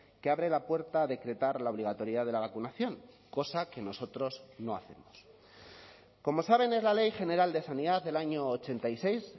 que abre la puerta a decretar la obligatoriedad de la vacunación cosa que nosotros no hacemos como saben es la ley general de sanidad del año ochenta y seis